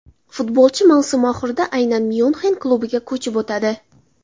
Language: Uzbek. Futbolchi mavsum oxirida aynan Myunxen klubiga ko‘chib o‘tadi.